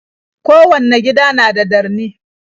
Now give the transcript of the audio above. Kowanne gida na da darni.